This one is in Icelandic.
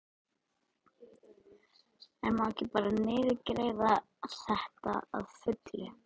En má ekki bara niðurgreiða þetta að fullu?